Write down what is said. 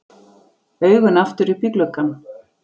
Augun aftur upp í gluggann.